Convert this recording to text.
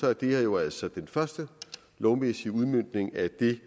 er det her jo altså den første lovmæssige udmøntning af det